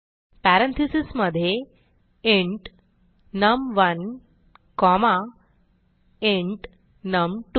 parenthesesमधे int नम1 comma int नम2